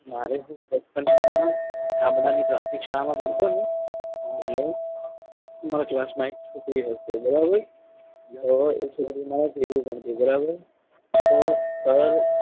કિસ્સો કહું મારે બચપનમાં કાબરા ની પ્રાથમિક શાળામાં ભણતો ને એટલે મારા class માં એક છોકરી હતી. હશે બરાબર તો એક છોકરી મારા ભેગું ભણતી બરાબર તો